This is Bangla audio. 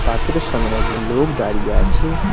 পাথরের সামোনে একজন লোক দাঁড়িয়ে আছে।